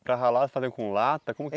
Para ralar, fazia com lata como que?